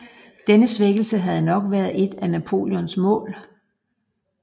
Denne svækkelse havde nok været et af Napoleons mål